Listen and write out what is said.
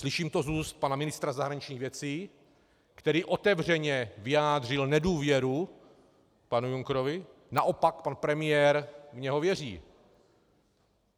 Slyším to z úst pana ministra zahraničních věcí, který otevřeně vyjádřil nedůvěru panu Junckerovi, naopak pan premiér v něho věří.